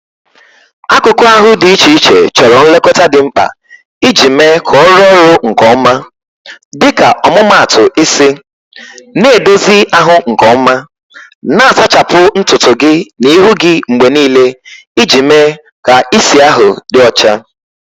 Akụkụ ahụ dị iche iche chọrọ nlekọta dị mkpa iji mee ka ọ rụọ ọrụ nke ọma, dịka ọmụmaatụ isi: na-edozi ahụ nke ọma, na-asachapụ ntutu gị na ihu gị mgbe niile iji mee ka isi ahụ dị ọcha.